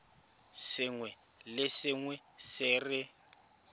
sengwe le sengwe se re